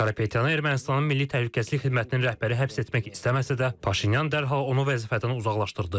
Karapetyanı Ermənistanın milli təhlükəsizlik xidmətinin rəhbəri həbs etmək istəməsə də, Paşinyan dərhal onu vəzifədən uzaqlaşdırdı.